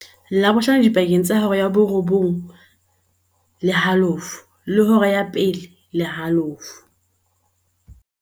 Labohlano dipakeng tsa hora ya 08:30 le hora ya 13:30.